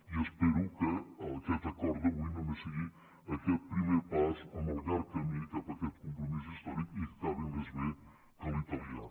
i espero que aquest acord d’avui només sigui aquest primer pas amb el llarg camí cap a aquest compromís històric i que acabi més bé que l’italià